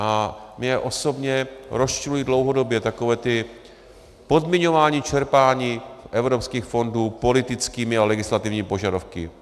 A mě osobně rozčilují dlouhodobě taková ta podmiňování čerpání evropských fondů politickými a legislativními požadavky.